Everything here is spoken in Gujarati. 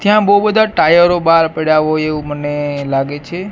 ત્યાં બો બધા ટાયરો બાર પડ્યા હોય એવુ મને લાગે છે.